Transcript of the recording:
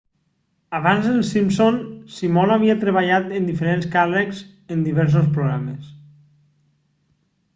abans d'els simpson simon havia treballat en diferents càrrecs en diversos programes